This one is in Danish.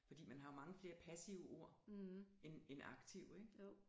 Fordi man har jo mange flere passive ord end end aktive ikke